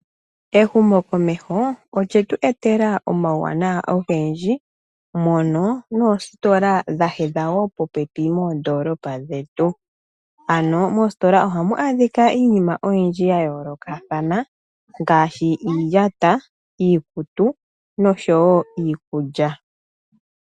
Ehumokomeho olye tu etela omauwanawa ogendji mono noositola dha hedha popepi moondoolopa dhetu. Moositola ohamu adhika iinima oyindji ya yoolokathana ngaashi iiyata, iikutu noshowo iikulya.